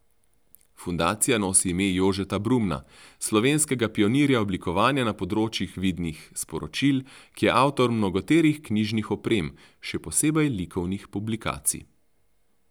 Fundacija nosi ime Jožeta Brumna, slovenskega pionirja oblikovanja na področju vidnih sporočil, ki je avtor mnogoterih knjižnih oprem, še posebej likovnih publikacij.